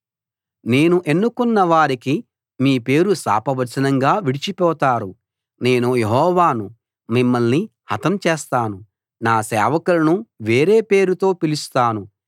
నేను ఎన్నుకున్న వారికి మీ పేరు శాపవచనంగా విడిచిపోతారు నేను యెహోవాను మిమ్మల్ని హతం చేస్తాను నా సేవకులను వేరే పేరుతో పిలుస్తాను